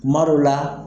Kuma dɔ la